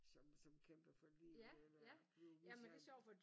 Som som netop kæmper for livet eller bliver udsat